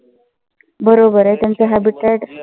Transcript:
बरोबर आ. हे त्याचं habitat